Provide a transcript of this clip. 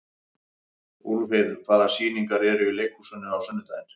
Úlfheiður, hvaða sýningar eru í leikhúsinu á sunnudaginn?